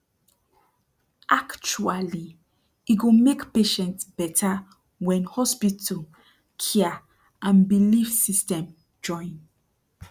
actuali e go mek patient beta wen hospital cia and belief system join